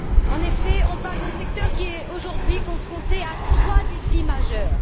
En effet, on parle d'un secteur qui est aujourd'hui confronté à trois défis majeurs.